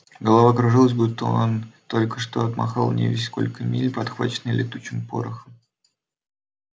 голова кружилась будто он только что отмахал невесть сколько миль подхваченный летучим порохом